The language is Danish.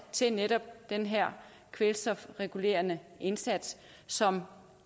til netop den her kvælstofregulerende indsats som